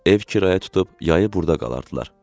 Ev kirayə tutub yayı burda qalardılar.